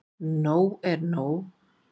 Nóg er nóg.